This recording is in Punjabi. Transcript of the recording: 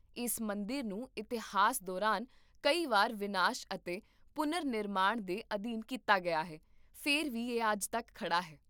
ਇਸ ਮੰਦਰ ਨੂੰ ਇਤਿਹਾਸ ਦੌਰਾਨ ਕਈ ਵਾਰ ਵਿਨਾਸ਼ ਅਤੇ ਪੁਨਰ ਨਿਰਮਾਣ ਦੇ ਅਧੀਨ ਕੀਤਾ ਗਿਆ ਹੈ, ਫਿਰ ਵੀ ਇਹ ਅੱਜ ਤੱਕ ਖੜ੍ਹਾ ਹੈ!